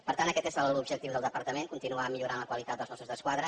per tant aquest és l’objectiu del departament continuar millorant la qualitat dels mossos d’esquadra